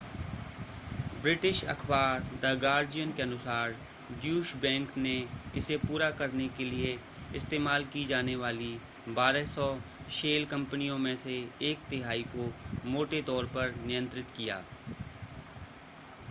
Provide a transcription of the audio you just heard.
British अख़बार the Guardian के अनुसार ड्यूश बैंक ने इसे पूरा करने के लिए इस्तेमाल की जाने वाली 1200 शेल कंपनियों में से एक तिहाई को मोटे तौर पर नियंत्रित किया